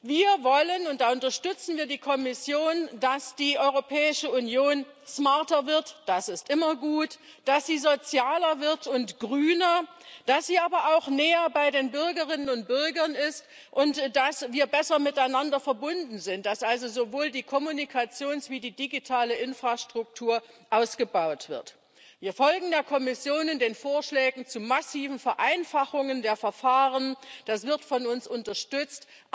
Wir wollen und da unterstützen wir die Kommission dass die Europäische Union smarter wird das ist immer gut dass sie sozialer wird und grüner, dass sie aber auch näher bei den Bürgerinnen und Bürgern ist und dass wir besser miteinander verbunden sind, dass also sowohl die Kommunikations als auch die digitale Infrastruktur ausgebaut wird. Wir folgen der Kommission in den Vorschlägen zu massiven Vereinfachungen der Verfahren. Das wird von uns unterstützt.